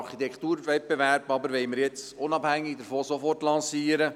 Den Architekturwettbewerb jedoch möchten wir unabhängig davon sofort lancieren.